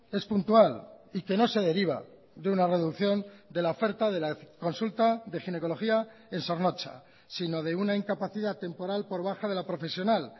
es puntual y que no se deriva de una reducción de la oferta de la consulta de ginecología en zornotza sino de una incapacidad temporal por baja de la profesional